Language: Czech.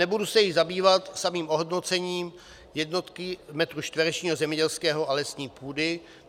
Nebudu se již zabývat samým ohodnocením jednotky metru čtverečního zemědělské a lesní půdy.